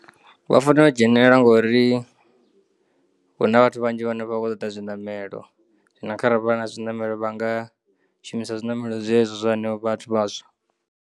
Vha fanela u dzhenelela ngori huna vhathu vhanzhi vhono kho ṱoḓa zwinamelo, zwino kharali vha na zwinamelo vhanga shumisa zwinamelo zwezwo zwa hanevho vhathu vhaswa.